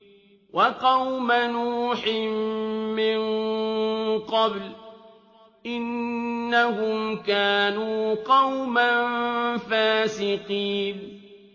وَقَوْمَ نُوحٍ مِّن قَبْلُ ۖ إِنَّهُمْ كَانُوا قَوْمًا فَاسِقِينَ